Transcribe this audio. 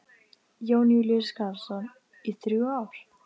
Jón Júlíus Karlsson: Í þrjú ár?